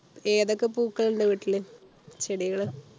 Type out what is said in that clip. ഏതൊക്കെ പൂക്കൾ ഉണ്ട് വീട്ടില് ചെടികൾ